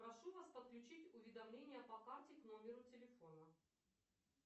прошу вас подключить уведомления по карте к номеру телефона